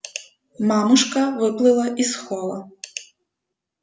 мамушка выплыла из холла